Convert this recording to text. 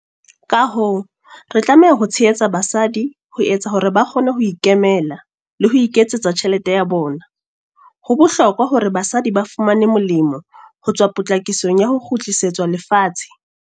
Ka hoo, re tlameha ho tshehetsa basadi ho etsa hore ba kgone ho ikemela le ho iketsetsa tjhelete ya bona. Ho bohlokwa hore basadi ba fumane molemo ho tswa potlakisong ya ho kgutlisetswa lefatshe.